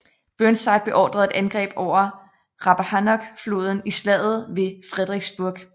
Burnside beordrede et angreb over Rappahannock floden i Slaget ved Fredericksburg